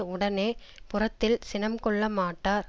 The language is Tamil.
உடனே புறத்தில் சினம் கொள்ளமாட்டார்